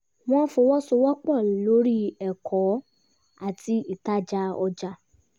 wọ́n fọwọ́sowọpọ̀ lori ẹ̀kọ́ àti ìtajà ọjà